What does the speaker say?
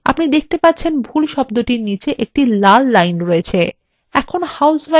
আপনি দেখতে পাচ্ছেন ভুল শব্দের নীচে একটি লাল লাইন রয়েছে